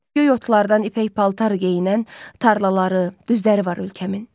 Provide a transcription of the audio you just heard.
Göy otlardan ipək paltar geyinən, tarlaları, düzləri var ölkəmin.